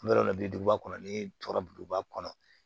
An bɛ yɔrɔ min na bi duguba kɔnɔ ni tɔɔrɔ duguba kɔnɔ